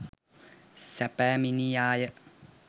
සැපැමිනියාය.